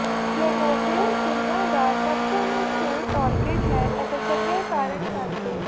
ਫਲੇਨਾਓਪਿਸ ਦੁਨੀਆ ਦਾ ਸਭ ਤੋਂ ਮਸ਼ਹੂਰ ਔਰਕਿਡ ਹੈ ਅਤੇ ਚੰਗੇ ਕਾਰਨ ਕਰਕੇ